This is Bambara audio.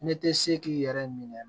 Ne tɛ se k'i yɛrɛ minɛ